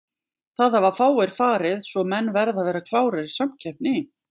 Það hafa fáir farið svo menn verða að vera klárir í samkeppni.